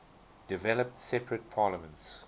developed separate parliaments